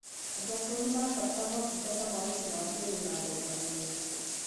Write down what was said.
Andũ akũrũ nĩmarabatara motungata ma ũgima wa mwĩrĩ na thogora mwega